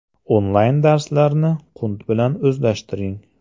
Onlayn darslarni qunt bilan o‘zlashtiring.